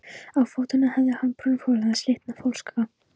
Á fótunum hafði hann brúnköflótta slitna flókaskó.